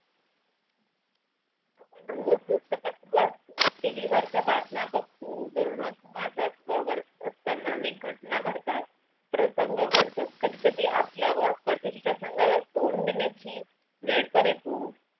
आपण रोज पुस्तकातुन वाचतो TV वरच्या बातम्या बघतो दररोज समाजात वावरत असताना अनेक घटना घडतात प्रसंग घडतात कधी कधी आपल्या वर कठीण प्रसंगाला तोंड देण्याची वेळ पण येतो